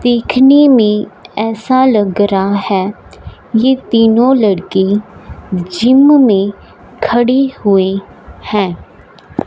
देखने में ऐसा लग रहा है ये तीनों लड़की जिम में खड़ी हुई है।